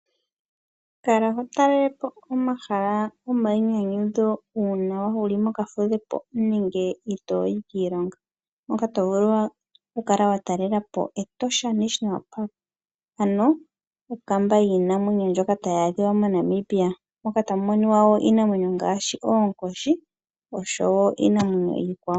Kala ho talelepo omahala gomainyanyudho uuna wuli mokafudho nenge i tooyi kiilongo ano to vulu watalelapo Etosha National park ano okamba yiinamwenyo mono to vulu moka hamu kala iinamwenyo ndjoka tayi adhiwa moNamibia moka tamu moniwa woo iinamwenyo ngaashi oonkoshi nosho woo iinamwenyo iikwawo.